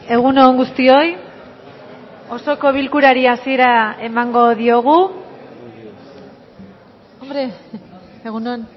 egun on guztioi osoko bilkurari hasiera emango diogu egun on